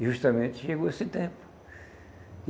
E justamente chegou esse tempo.